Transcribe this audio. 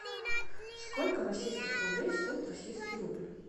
сколько российских рублей стоит российский рубль